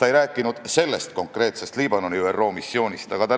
Ta ei rääkinud sellest konkreetsest ÜRO missioonist Liibanonis.